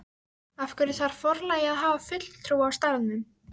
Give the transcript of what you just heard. Af hverju þarf forlagið að hafa fulltrúa á staðnum?